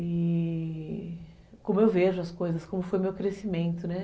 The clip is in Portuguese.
E como eu vejo as coisas, como foi o meu crescimento, né?